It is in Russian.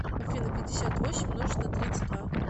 афина пятьдесят восемь умножить на тридцать два